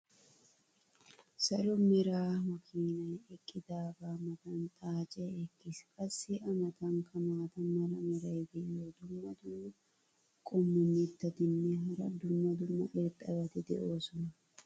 salo mera makiinay eqqidaagaa matan xaacee eqqis. qassi a matankka maata mala meray diyo dumma dumma qommo mitattinne hara dumma dumma irxxabati de'oosona.